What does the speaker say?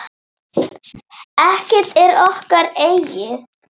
Ekkert er okkar eigið.